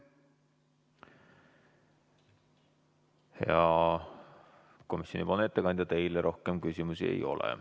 Hea komisjoni ettekandja, teile rohkem küsimusi ei ole.